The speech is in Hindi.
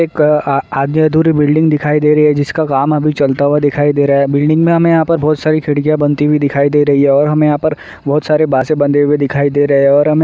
एक अ आधी अधूरी बिल्डिंग दिखाई दे रही है जिसका काम अभी चलता हुआ दिखाई दे रहा है। बिल्डिंग में हमे यहाँ पे बहोत सारी खिड़कियाँ बनती हुई दिखाई दे रही है और हमे यहाँ पर बहोत सारे बासे बंधे हुए दिखाई दे रहे हैं और हमें --